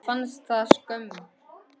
Henni fannst það skömm.